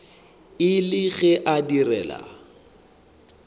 e le ge a direla